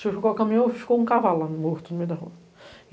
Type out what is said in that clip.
o caminhão, ficou um cavalo lá, morto no meio da rua.